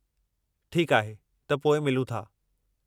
ठीकु आहे, त पोइ मिलूं था।